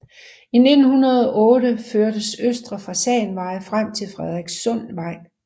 I 1908 førtes Østre Fasanvej frem til Frederikssundsvej